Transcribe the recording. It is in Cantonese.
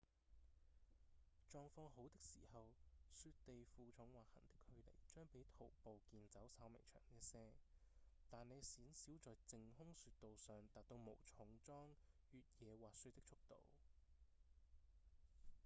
狀況好的時候雪地負重滑行的距離將比徒步健走稍微長一些但你鮮少在淨空雪道上達到無重裝越野滑雪的速度